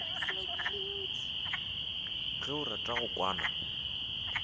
ge o rata go kwana